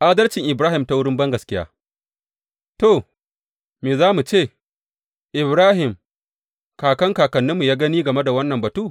Adalcin Ibrahim ta wurin bangaskiya To, me za mu ce Ibrahim kakan kakanninmu ya gani game da wannan batu?